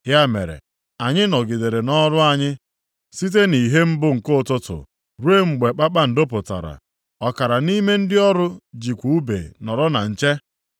Ya mere, anyị nọgidere nʼọrụ anyị site nʼìhè mbụ nke ụtụtụ rụọ mgbe kpakpando pụtara. Ọkara nʼime ndị ọrụ jikwa ùbe nọrọ na nche.